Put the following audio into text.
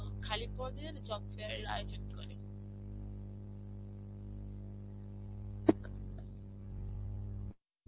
খালি পদের job fair এর আয়োজন করে.